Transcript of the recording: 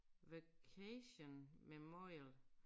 Vacation memorial